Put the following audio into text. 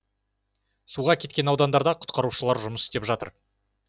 суға кеткен аудандарда құтқарушылар жұмыс істеп жатыр